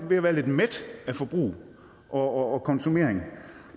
ved at være lidt mæt af forbrug og og konsumering